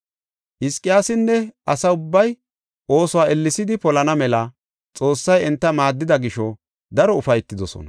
Hizqiyaasinne asa ubbay oosuwa ellesidi polana mela Xoossay enta maaddida gisho daro ufaytidosona.